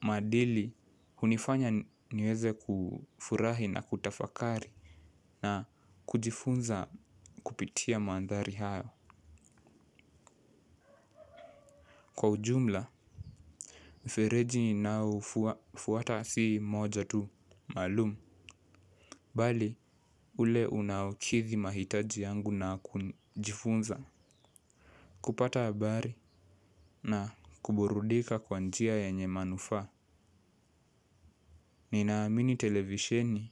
maadili hunifanya niweze kufurahi na kutafakari na kujifunza kupitia mandhari hayo. Kwa ujumla, mfereji ninao ufuata si moja tu, maalum mbali, ule unaokithi mahitaji yangu na kujifunza. Kupata habari na kuburudika kwa njia yenye manufaa. Ninaamini televisheni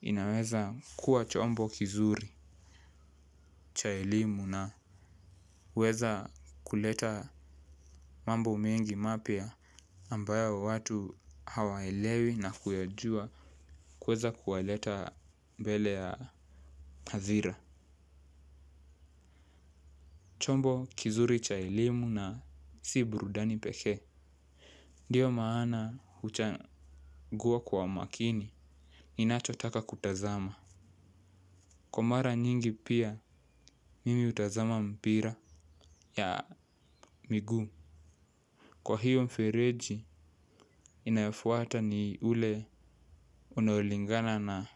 inaweza kuwa chombo kizuri cha elimu naweza kuleta mambo mengi mapya ambayo watu hawaelewi na kuyajua kuweza kuwaleta mbele ya hadhira. Chombo kizuri cha elimu na si burudani pekee ndio maana huchagua kwa makini ninachotaka kutazama. Kwa mara nyingi pia mimi hutazama mpira ya miguu. Kwa hiyo mfereji inayofuata ni ule unaolingana na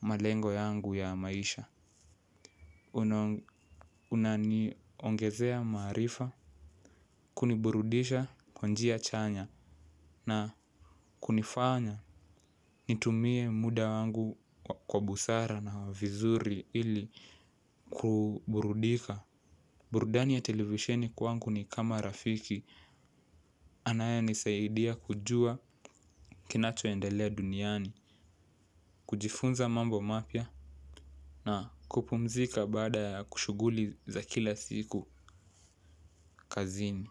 malengo yangu ya maisha. Unaniongezea maarifa kuniburudisha kwa njia chanya na kunifanya nitumie muda wangu kwa busara na vizuri ili kuburudika. Burudani ya televisheni kwangu ni kama rafiki anayenisaidia kujua kinachoendelea duniani. Kujifunza mambo mapya na kupumzika baada ya kushughuli za kila siku kazini.